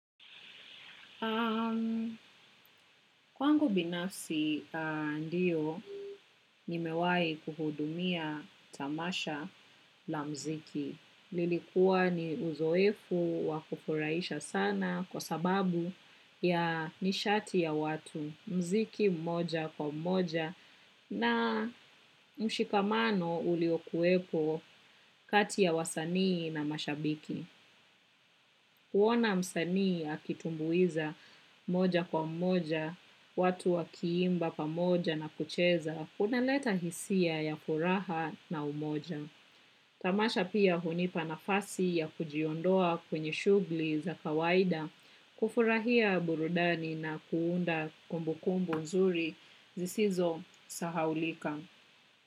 Kwangu binafsi ndiyo, nimewai kuhudumia tamasha la mziki. Lilikuwa ni uzoefu wakufuraisha sana kwa sababu ya nishati ya watu mziki mmoja kwa mmoja na mshikamano uliokuepo kati ya wasanii na mashabiki. Huona msanii akitumbuiza moja kwa moja, watu wakiimba pamoja na kucheza, unaleta hisia ya furaha na umoja. Tamasha pia hunipa nafasi ya kujiondoa kwenye shugli za kawaida, kufurahia burudani na kuunda kumbu kumbu nzuri, zisizo sahaulika.